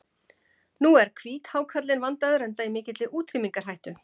Nú er hvíthákarlinn verndaður enda í mikilli útrýmingarhættu.